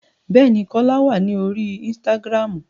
Bẹ́ẹ̀ ni, Kọ́lá wà ní orí ínísítágírámù